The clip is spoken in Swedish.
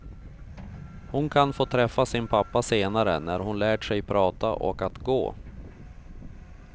Hon kan få träffa sin pappa senare, när hon lärt sig prata och att gå.